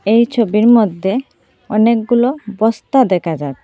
এই ছবির মধ্যে অনেকগুলো বস্তা দেখা যায়।